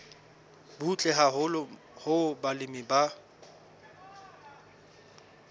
butle haholo hoo balemi ba